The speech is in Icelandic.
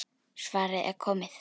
Svarið er komið.